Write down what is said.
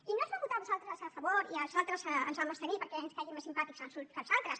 i no us la vam votar a vosaltres a favor i amb els altres ens vam abstenir perquè ens caiguin més simpàtics els uns que els altres